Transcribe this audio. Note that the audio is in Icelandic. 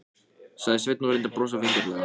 sagði Sveinn og reyndi að brosa vingjarnlega.